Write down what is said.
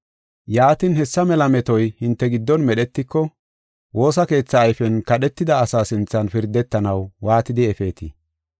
Yaatin, hessa mela metoy hinte giddon medhetiko, woosa keetha ayfen kadhetida asa sinthan pirdetanaw waatidi efeetii?